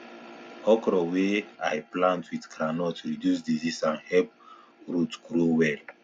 okra wey i plant with groundnut reduce disease and help root grow well